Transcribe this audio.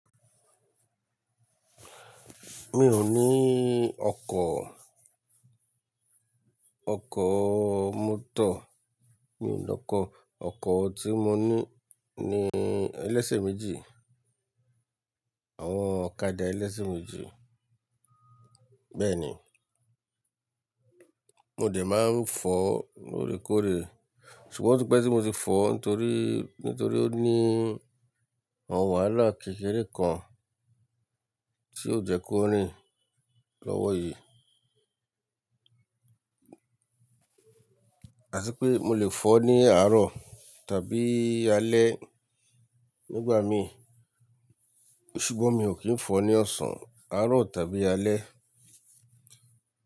Mi ò ní ọkọ̀, ọkọ̀ mọ́tò. Mi ò ní ọkọ̀. Ọkọ̀ tí mo ní ní ẹlẹ́sẹ̀ méjì, àwọn ọ̀kadà ẹlẹ́sẹ̀ méjì. Bẹ́ẹ̀ni, mo lè máa ń fọ̀ lórekóore. Ṣùgbọ́n pé tí mo ti fọ nítorí, nítorí ó ní àwọn wàháláà kékeré kan tí ó jẹ́ kó rìn lọ́wọ́ yí. A tí pé mo lè fọ̀ ní àárọ̀ tàbí alẹ́ nígbà mi. Ṣùgbọ́n mi ò kí ń fọ̀ ní ọ̀sán, àárọ̀ tàbí alẹ́.